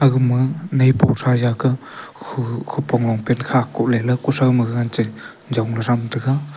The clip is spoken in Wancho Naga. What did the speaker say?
aga ma naipu thua jaka khu khu kopong longpant kha kohley khuthao maga che jamnu tham tega.